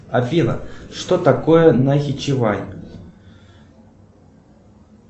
афина что такое нахичивань